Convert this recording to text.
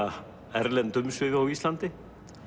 erlend umsvif á Íslandi